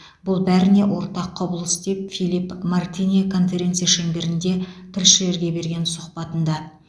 бұл бәріне ортақ құбылыс деп филипп мартинэ конференция шеңберінде тілшілерге берген сұхбатында